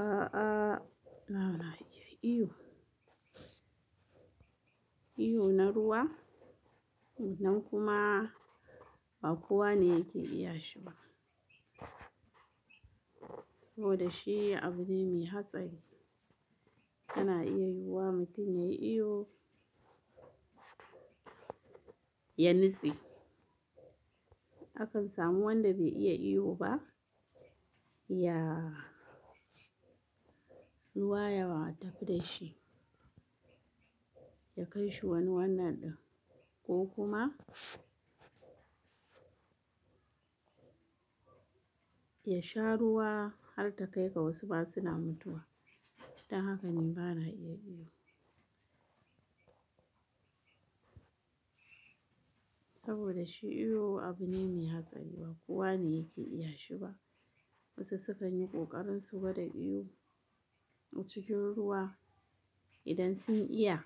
A'a, ba na iya iyo. Iyo na ruwa nan kuma ba kowa ne yake iya shi ba. Saboda shi abu ne mai hatsari. Ana iya yiwuwa mutum yayi iyo ya nitsi. Akan samu wanda bai iya iyo ba, ya Ruwa ya wa tafi ɗa shi, ya kai shi wani wannan ɗan ko kuma Ya sha ruwa har ta kai ga wasu ba suna mutuwa. Don haka ne bana iya iyo. Saboda shi iyo abu ne mai hatsari ba kowa ne yake iya shi ba. Wasu sukan yi ƙoƙarin su gwada iyo a cikin ruwa idan sun iya.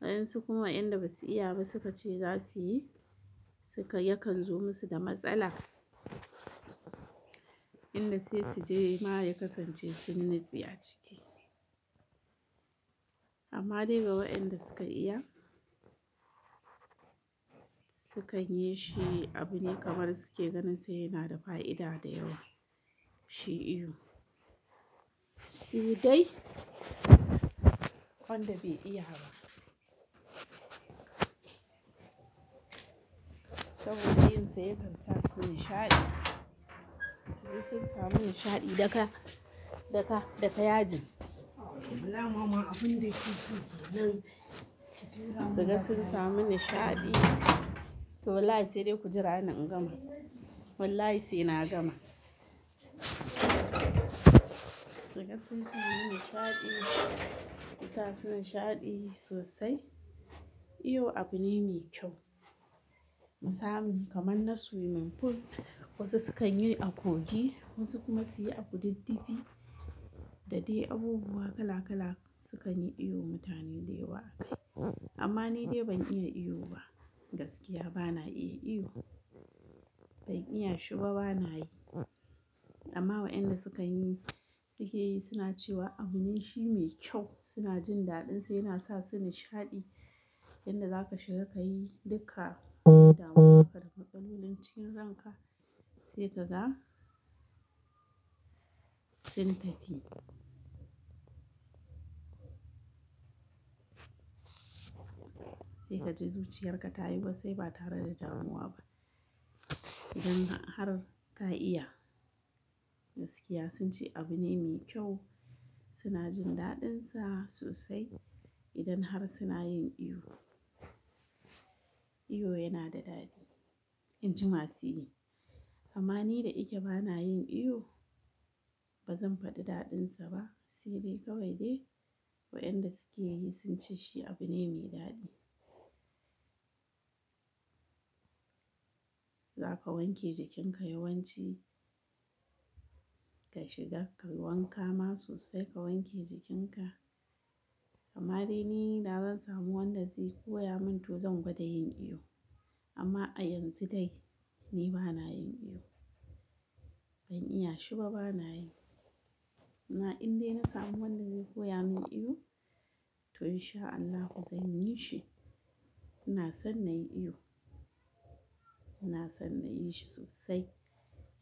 Waɗansu kuma inda ba su iya ba suka ce za su yi, suka, yakan zo musu da matsala. Inda sai su je ma ya kasance sun nitsi a ciki. Amma dai ga wa'inda suka iya, Sukan yi shi abu ne kamar suke ganin sa yana da fa'ida da yawa, shi iyo. Su dai wanda bai iya ba. Saboda yinsa yakan sa su nishaɗi. Duk sun sami nishaɗi daga, daga, daga yaji. Sannan sun samu nishaɗi. Toh wallahi sai dai ku jira a nan in gama. Wallahi sai na gama. Ka ga sun ji nimi nishaɗi, mu sa su nishaɗi sosai. Iyo abu ne mai kyau. Na samu kamar na swimming pool wasu sukan yi a kogi wasu kuma su yi a kududdufi da dai abubuwa kala kala sukan yi iyo mutane da yawa a kai. Amma ni dai ban iya iyo ba. Gaskiya ba na iya iyo. Ban iya shi ba, ba na yi. Amma wa'inda sukan yi, suke yi suna cewa abune shi mai kyau. Suna jin daɗinsa yana sa su nishaɗi. Inda za ka shiga ka yi duka damuwar ka da matsalolin cikin ranka sai kaga sun tafi. Sai ka ji zuciyarka ta yi ba sai ba tare da damuwa ba. Idan har ka iya, gaskiya sun ce abu ne mai kyau. Suna jin daɗinsa sosai idan har suna yin iyo. Iyo yana da daɗi, inji masu yi. Amma ni da yake ba na yin iyo. Ba zan faɗi daɗinsa ba. Sai dai kawai dai wa'inda suke yi sun ce shi abu ne mai daɗi. Za ka wanke jikinka yawanci. Ka shiga ka yi wanka ma sosai ka wanke jikinka. Amma dai ni da zan samu wanda zai koya min toh zan gwada yin iyo. Amma a yanzu dai ni ba na yin iyo. Ban iya shi ba, ba na yi. Amma in dai na samu wanda zai koya min iyo to insha Allahi fa zan yi shi. Ina son na yi iyo. Ina son na yi shi sosai.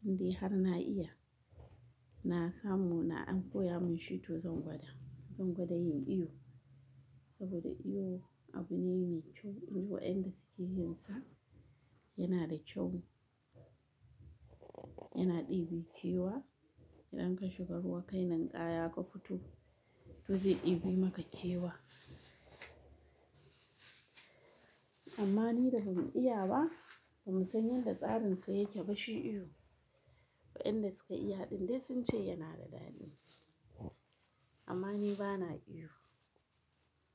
In dai har na iya. Na samu na an koya min shi toh zan gwada. Zan gwada yin iyo. Saboda iyo abu ne mai kyau. In ji wa'inda suke yin sa yana da kyau. Yana ɗibi kewaya. Idan ka shiga ruwa kai ninƙaya ka fito, toh zai ɗibi maka kewaya. Amma ni da ban iya ba, ban san yanda tsarin sa yake ba shi iyo. Waɗanda suka iya ɗin dai sun ce yana da daɗi. Amma ni ba na iyo.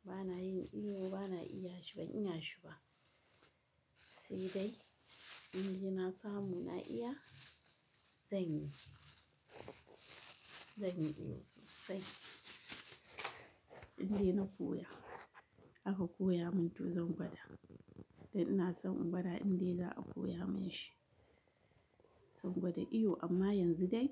Ba na yin iyo ba na iya shi ban iya shi ba. Sai dai in dai na samu na iya zan yi. Zan yi iyo sosai. In dai na koya, aka koya min toh zan gwada. Da ina son in gwada in dai za a koya min shi. Zan gwada iyo amma yanzu dai.